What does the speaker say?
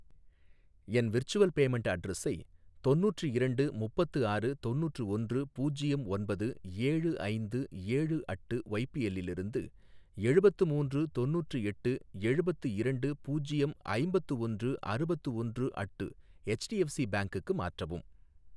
என் virtual payment அட்ரஸை தொண்ணூற்று இரண்டு முப்பத்து ஆறு தொண்ணூற்று ஒன்று பூஜ்யம் ஒன்பது ஏழு ஐந்து ஏழு அட்டு ஒய்பிஎல்லிலிருந்து எழுபத்து மூன்று தொண்ணூற்று எட்டு எழுபத்து இரண்டு பூஜ்யம் ஐம்பத்து ஒன்று அறுபத்து ஒன்று அட்டு ஹெச்டிஎஃப்சி பேங்குக்கு மாற்றவும்.